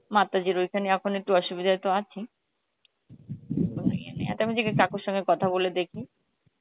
মাতাজির ওই খানে এখন একটু অসুবিধা তো আছেই কাকুর সথে কথা বলে দেখি